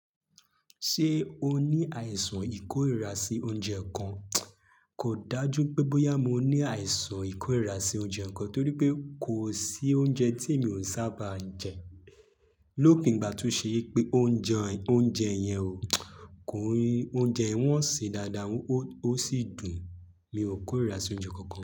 Ṣé o ní àìsàn ìkórìíra sí oúnjẹ kan? Kò dájú pé bóyá mo ní àìsàn ìkórìíra sí oúnjẹ kankan torí pé kò sí oúnjẹ tí mi ò sábà ń jẹ. Lópin igbà to ṣe wípé ó ń jẹ oúnjẹ yẹn o. Kò yé, oúnjẹ yi wọ́n sẹ dáadáa ó sì dùn. Mi ò kórìíra sí oúnjẹ kankan.